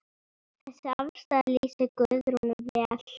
Þessi afstaða lýsir Guðrúnu vel.